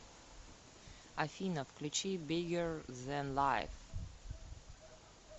афина включи биггер зен лайф